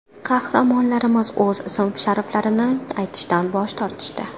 Qahramonlarimiz o‘z ism-shariflarini aytishdan bosh tortishdi.